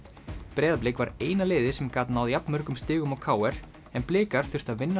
Breiðablik var eina liðið sem gat náð jafnmörgum stigum og k r en blikar þurftu að vinna